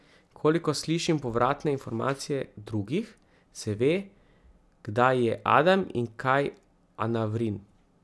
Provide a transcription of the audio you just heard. Kolikor slišim povratne informacije drugih, se ve, kdaj je Adam in kaj Anavrin.